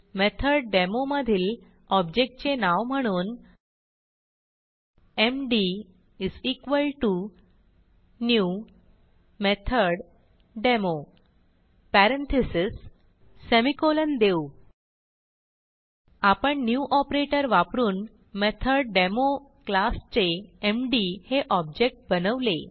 मेथोडेमो मधील ऑब्जेक्ट चे नाव म्हणून एमडी new मेथोडेमो पॅरेंथीसेस semicolonदेऊ आपण न्यू ऑपरेटर वापरून मेथोडेमो क्लासचे एमडी हे ऑब्जेक्ट बनवले